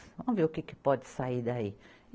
Vamos ver o que que pode sair daí.